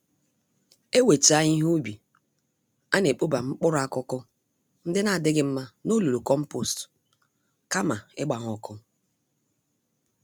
Ewechaa ihe ubi, anekpoba mkpụrụ-akụkụ ndị n'adịghị mma n'olulu kompost, kama ịgba ha ọkụ